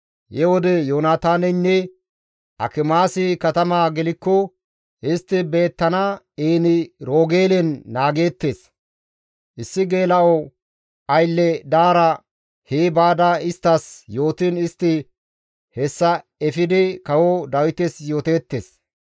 He wode Yoonataaneynne Akimaasi katama gelikko istti beettana En-Roogeelen naageettes; issi geela7o aylle daara hee baada isttas yootiin istti hessa efidi kawo Dawites yooteettes.